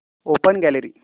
open gallery